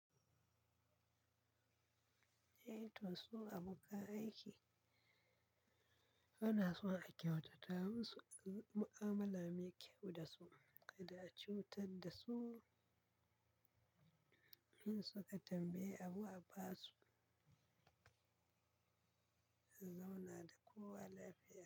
Eh to su abokan aiki ana so a kyautata musu, mu'amala mai kyau da su, kada a cutar da su, in suka tambaye abu a ba su, zauna da kowa lafiya.